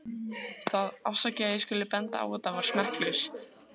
Það- afsakið að ég skuli benda á þetta- var smekklaust.